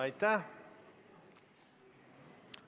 Aitäh!